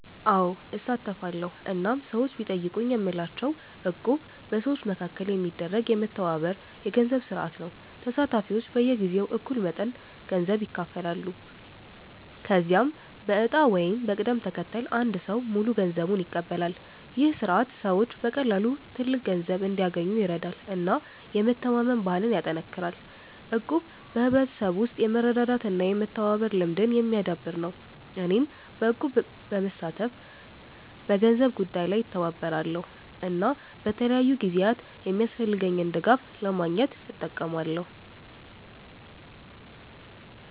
አዎ፣ እሳተፋለሁ እናም ሰዎች ቢጠይቁኝ የምላቸው እቁብ በሰዎች መካከል የሚደረግ የመተባበር የገንዘብ ስርዓት ነው። ተሳታፊዎች በየጊዜው እኩል መጠን ገንዘብ ይከፍላሉ፣ ከዚያም በዕጣ ወይም በቅደም ተከተል አንድ ሰው ሙሉ ገንዘቡን ይቀበላል። ይህ ስርዓት ሰዎች በቀላሉ ትልቅ ገንዘብ እንዲያገኙ ይረዳል እና የመተማመን ባህልን ያጠናክራል። እቁብ በሕብረተሰብ ውስጥ የመረዳዳት እና የመተባበር ልምድን የሚያዳብር ነው። እኔም በእቁብ በመሳተፍ በገንዘብ ጉዳይ ላይ እተባበራለሁ እና በተለያዩ ጊዜያት የሚያስፈልገኝን ድጋፍ ለማግኘት እጠቀማለሁ።